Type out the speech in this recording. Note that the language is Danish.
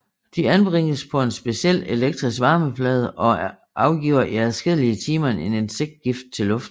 De anbringes på en speciel elektrisk varmeplade og afgiver i adskillige timer en insektgift til luften